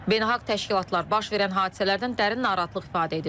Beynəlxalq təşkilatlar baş verən hadisələrdən dərin narahatlıq ifadə edib.